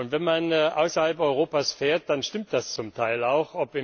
Wenn man außerhalb Europas reist, dann stimmt das zum Teil auch.